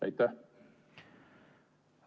Aitäh!